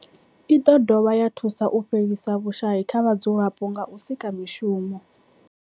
I dovha ya thusa u fhelisa vhushayi kha vhadzulapo nga u sika mishumo.